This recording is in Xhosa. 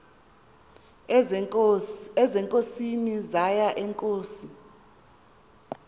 ezinkosini zaye iinkosi